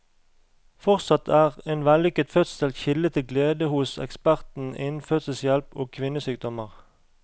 Fortsatt er en vellykket fødsel kilde til glede hos eksperten innen fødselshjelp og kvinnesykdommer.